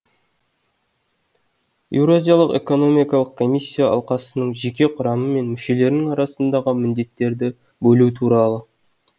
еуразиялық экономикалық комиссия алқасының жеке құрамы мен мүшелерінің арасындағы міндеттерді бөлу туралы